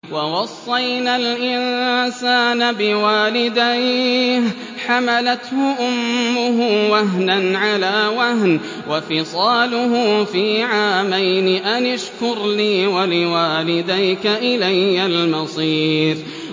وَوَصَّيْنَا الْإِنسَانَ بِوَالِدَيْهِ حَمَلَتْهُ أُمُّهُ وَهْنًا عَلَىٰ وَهْنٍ وَفِصَالُهُ فِي عَامَيْنِ أَنِ اشْكُرْ لِي وَلِوَالِدَيْكَ إِلَيَّ الْمَصِيرُ